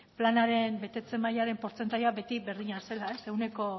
planaren betetze mailaren portzentaia beti berdina zela ehuneko